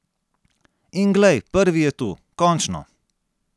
In glej, prvi je tu, končno!